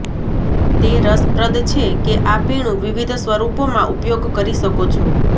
તે રસપ્રદ છે કે આ પીણું વિવિધ સ્વરૂપોમાં ઉપયોગ કરી શકો છો